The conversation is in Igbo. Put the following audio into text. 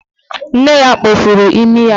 Nne ya kpọfuru imi ya.